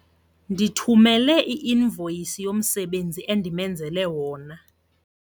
Ndithumele i-invoyisi yomsebenzi endimenzele wona.